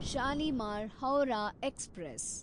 Shalimar (Howrah) express